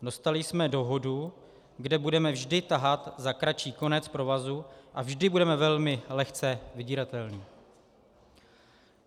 Dostali jsme dohodu, kde budeme vždy tahat za kratší konec provazu a vždy budeme velmi lehce vydíratelní.